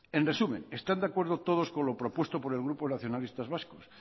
en resumen están de acuerdo todos con lo propuesto por el grupo nacionalistas vascos